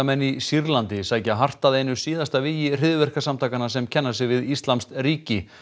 í Sýrlandi sækja hart að einu síðasta vígi hryðjuverkasamtakanna sem kenna sig við íslamskt ríki